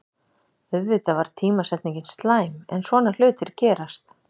Auðvitað var tímasetningin slæm, en svona hlutir gerast.